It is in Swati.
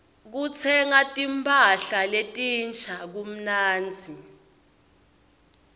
kutsenga timpahla letinsha kumnandzi